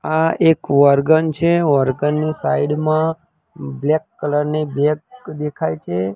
આ એક વર્ગન છે વર્ગન ની સાઇડ માં બ્લેક કલર ની બેગ દેખાય છે.